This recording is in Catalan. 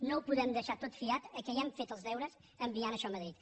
no ho podem deixar tot fiat a què ja hem fet els deures enviant això a madrid